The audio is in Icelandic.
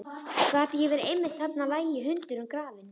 Gat ekki verið að einmitt þarna lægi hundurinn grafinn?